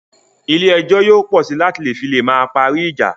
Ilé ẹjọ́ yóò pọ sí láti fi lè máa parí ìjà